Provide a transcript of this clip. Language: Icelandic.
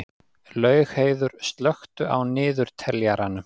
Laugheiður, slökktu á niðurteljaranum.